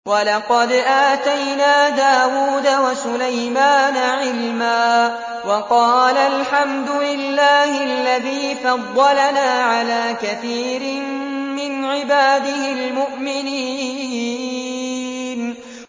وَلَقَدْ آتَيْنَا دَاوُودَ وَسُلَيْمَانَ عِلْمًا ۖ وَقَالَا الْحَمْدُ لِلَّهِ الَّذِي فَضَّلَنَا عَلَىٰ كَثِيرٍ مِّنْ عِبَادِهِ الْمُؤْمِنِينَ